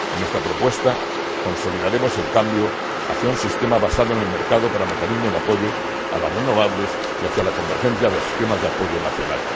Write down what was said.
En nuestra propuesta consolidaremos el cambio hacia un sistema basado en el mercado para mecanismos de apoyo a las renovables y hacia la convergencia de esquemas de apoyo nacional.